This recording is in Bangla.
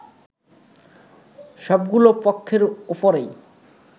সবগুলো পক্ষের ওপরই